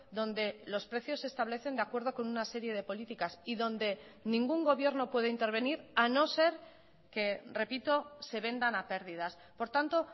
donde los precios se establecen de acuerdo con una serie de políticas y donde ningún gobierno puede intervenir a no ser que repito se vendan a pérdidas por tanto